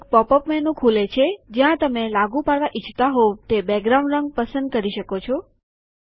એક pop up menu ખુલે છે જ્યાં તમે લાગુ પાડવા ઈચ્છતા હોઉ તે બેકગ્રાઉન્ડ રંગ પસંદ કરી શકો છો